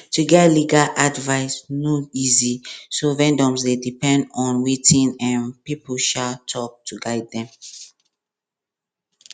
to get legal advice no easy so vendors dey depend on wetin um people um talk to guide them